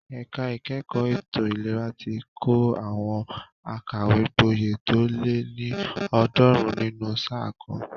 Ẹ̀ka ìkẹ́kọ̀ọ́ ètò ìlera ti kọ́ àwọn akàwégboyè tó lé ní ọ̀ọ́dúnrún nínú sáà kan.